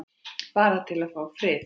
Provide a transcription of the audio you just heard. Bara til að fá frið.